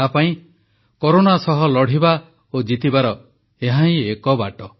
ତାପାଇଁ କରୋନା ସହ ଲଢ଼ିବା ଓ ଜିତିବାର ଏହାହିଁ ଏକ ବାଟ